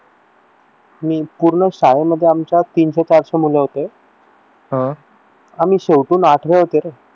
की पूर्ण शाळेमध्ये आमच्या तीनशे चारशे मुलं होते आह आम्ही शेवटून आठवे होते रे